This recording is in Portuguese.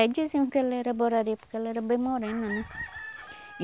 diziam que ela era Borari, porque ela era bem morena, né?